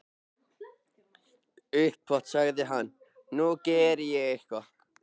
Upphátt sagði hann:- Nú geri ég eitthvað.